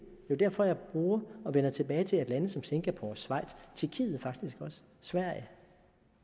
er derfor jeg bruger og vender tilbage til lande som singapore schweiz tjekkiet og sverige